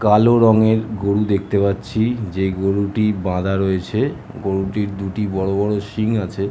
কালো রঙের গরু দেখতে পারছি যে গরুটি বাধা রয়েছে গরুটির দুটি বড়ো বড়ো সিং আছে ।